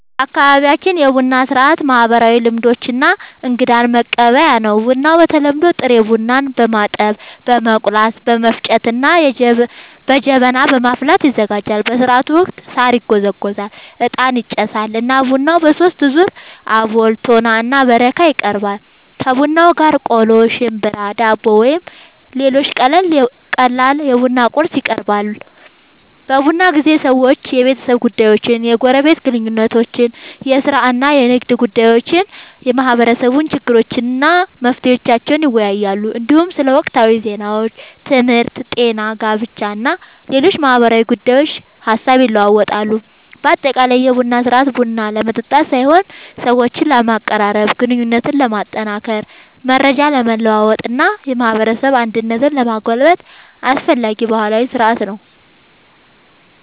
በአካባቢያችን የቡና ሥርዓት ማህበራዊ ልምዶች እና እንግዳን መቀበያችን ነው። ቡናው በተለምዶ ጥሬ ቡናን በማጠብ፣ በመቆላት፣ በመፍጨት እና በጀበና በማፍላት ይዘጋጃል። በሥርዓቱ ወቅት ሣር ይጎዘጎዛል፣ ዕጣን ይጨሳል እና ቡናው በሦስት ዙር (አቦል፣ ቶና እና በረካ) ይቀርባል። ከቡናው ጋር ቆሎ፣ ሽምብራ፣ ዳቦ ወይም ሌሎች ቀላል የቡና ቁርስ ይቀርባል። በቡና ጊዜ ሰዎች የቤተሰብ ጉዳዮችን፣ የጎረቤት ግንኙነቶችን፣ የሥራ እና የንግድ ጉዳዮችን፣ የማህበረሰብ ችግሮችን እና መፍትሄዎቻቸውን ይወያያሉ። እንዲሁም ስለ ወቅታዊ ዜናዎች፣ ትምህርት፣ ጤና፣ ጋብቻ እና ሌሎች ማህበራዊ ጉዳዮች ሐሳብ ይለዋወጣሉ። በአጠቃላይ የቡና ሥርዓት ቡና ለመጠጣት ሳይሆን ሰዎችን ለማቀራረብ፣ ግንኙነትን ለማጠናከር፣ መረጃ ለመለዋወጥ እና የማህበረሰብ አንድነትን ለማጎልበት አስፈላጊ ባህላዊ ሥርዓት ነው።